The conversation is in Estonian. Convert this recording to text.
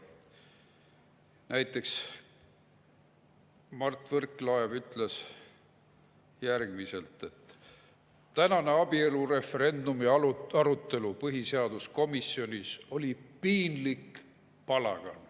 Näiteks Mart Võrklaev ütles järgmist: "Tänane abielureferendumi arutelu põhiseaduskomisjonis oli piinlik palagan.